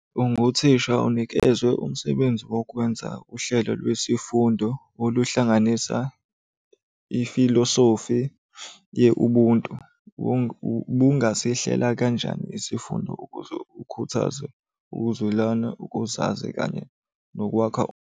Unguthisha unikezwe umsebenzi wokwenza uhlelo lwe sifundo oluhlanganisa ifilosofi ye-Ubuntu. Ubungasihlela kanjani isifundo ukuze ukhuthaze ukuzwelana, ukuzazi kanye nokwakha.